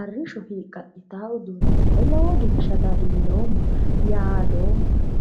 arrishsho hiiqqaqqitaa daafira lowo geeshsha dadilloomma yaadoommano.